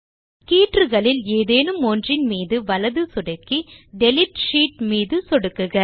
கீற்றுகளில் ஏதேனும் ஒன்றின் மீது வலது சொடுக்கி டிலீட் ஷீட் மீதும் சொடுக்குக